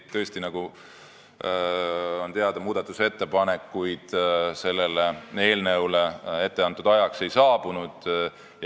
Tõesti, nagu on teada, muudatusettepanekuid selle eelnõu kohta etteantud ajaks ei saabunud.